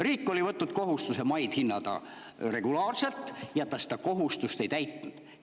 Riik oli võtnud kohustuse maid regulaarselt hinnata, aga seda kohustust ta ei täitnud.